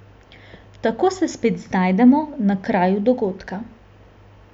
Tako se spet znajdemo na kraju dogodka.